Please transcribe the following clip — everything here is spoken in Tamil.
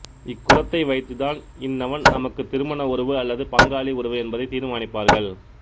இக்குலத்தை வைத்துதான் இன்னவன் நமக்கு திருமண உறவு அல்லது பங்காளி உறவு என்பதை தீர்மானிப்பார்கள்